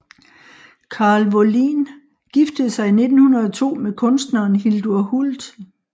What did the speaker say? Karl Wåhlin giftede sig i 1902 med kunstneren Hildur Hult